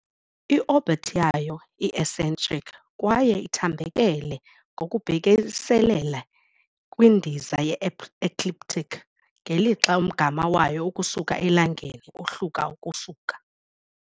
I-orbit yayo i-eccentric kwaye ithambekele ngokubhekiselele kwindiza ye-ecliptic, ngelixa umgama wayo ukusuka eLangeni uhluka ukusuka.